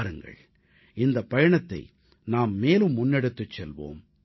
வாருங்கள் இந்தப் பயணத்தை நாம் மேலும் முன்னெடுத்துச் செல்வோம்